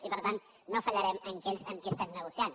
i per tant no fallarem a aquells amb qui estem negociant